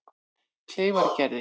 Kleifargerði